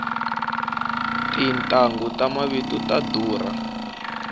tintanghu ta mavito ta durha